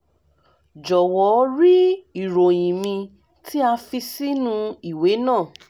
jọwọ rí ìròyìn mi tí a fi sínú ìwé náà